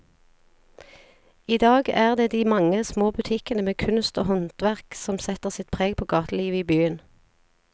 I dag er det de mange små butikkene med kunst og håndverk som setter sitt preg på gatelivet i byen.